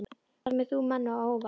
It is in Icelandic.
Alltaf kemur þú manni á óvart.